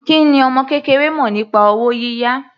Kí ni ọmọ kékeré mọ̀ nípa owó yíyá?